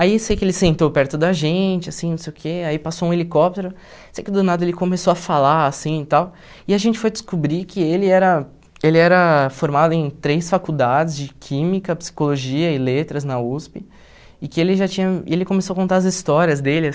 Aí, sei que ele sentou perto da gente assim não sei o quê, aí passou um helicóptero, sei que do nada ele começou a falar assim tal, e a gente foi descobrir que ele era ele era formado em três faculdades de Química, Psicologia e Letras na USP, e que ele já tinha e ele começou a contar as histórias dele,